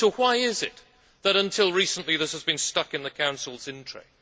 So why is it that until recently, this has been stuck in the Council's in tray?